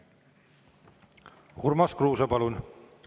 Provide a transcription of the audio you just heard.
Urmas Kruuse, palun!